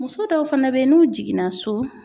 Muso dɔw fana bɛ yen n'u jiginna so.